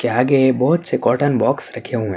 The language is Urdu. ے آگے بھوت سے کاٹن باکس رکھے ہوئے ہے۔